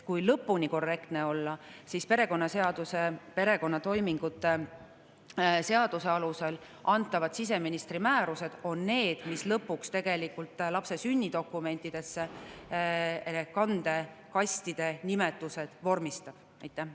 Kui lõpuni korrektne olla, siis perekonnatoimingute seaduse alusel antavad siseministri määrused on need, mille alusel lõpuks lapse sünnidokumentides kannete nimetused vormistatakse.